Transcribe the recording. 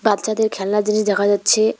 বাচ্চাদের খেলনার জিনিস দেখা যাচ্ছে।